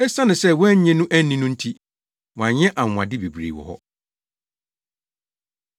Esiane sɛ wɔannye no anni no nti, wanyɛ anwonwade bebree wɔ hɔ!